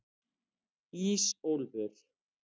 Ísólfur